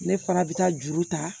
Ne fana bɛ taa juru ta